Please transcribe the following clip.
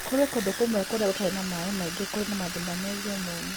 Kũrĩ kũndũ kũmwe kũrĩa gũtarĩ maĩ maingĩ kũrĩ na mathĩna megiĩ mũnyũ